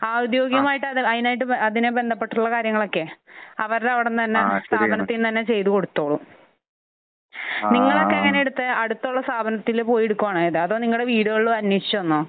ഔദ്യോകികമായിട്ട് അതിനായിട്ട് അതിനെ ബന്ധപ്പെട്ടുള്ള കാര്യങ്ങൾ ഒക്കെ അവരുടെ അവിടെ നിന്ന് തന്നെ സ്ഥാപനത്തിൽ നിന്ന് തന്നെ ചെയ്ത് കൊടുത്തോളും. നിങ്ങളൊക്കെ എങ്ങനെയാണ് എടുത്തത്? അടുത്തുള്ള സ്ഥാപനത്തിൽ പോയി എടുക്കുകയാണോ ചെയ്തത്? അതോ നിങ്ങളെ വീടുകൾ അന്വേഷിച്ച് വന്നോ?